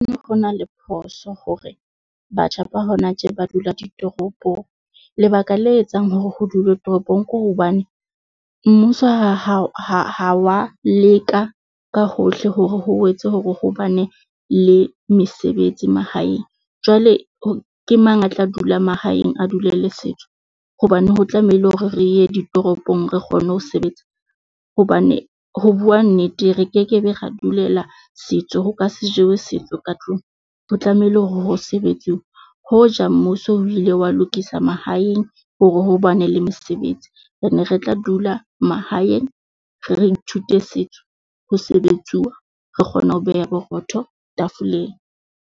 Ho na le phoso hore batjha ba hona tje ba dula ditoropong. Lebaka le etsang hore ho dulwe toropong ke hobane mmuso ha wa leka ka hohle hore ho wetse hore ho bane le mesebetsi mahaeng. Jwale ho ke mang a tla dula mahaeng a dulele le setso? Hobane ho tlamehile hore re ye ditoropong re kgone ho sebetsa. Hobane ho bua nnete re kekebe ra dulela setso ho ka se jewe setso ka tlung. O tlamehile hore ho sebetsiwe. Hoja mmuso o ile wa lokisa mahaeng hore ho bane le mesebetsi re ne re tla dula mahaeng, re ithute setso ho sebetsuwa. Re kgone ho beha borotho tafoleng.